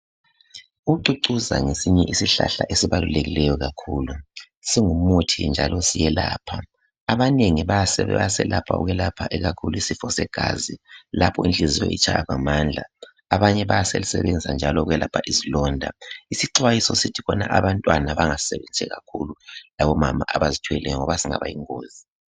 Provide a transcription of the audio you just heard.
ucucuza ngesinye yezihlahla ezibalulekileyo kakhulu singumuthi njalo siyelapha abanengi bayeselapha ikakhulu isisfo segazi lapho inhliziyo itshaya ngamandla abanye bayasisenzisa ukwelapha izilonda isixwayiso sithi khon abantwana bangasisebenzisi kakhulu labo mama abazithweleyo ngoba singaba yingozi